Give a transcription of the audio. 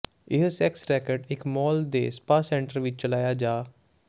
ਇਹ sex racket ਇੱਕ mall ਦੇ ਸਪਾ ਸੈਂਟਰ ਵਿੱਚ ਚਲਾਇਆ ਜਾ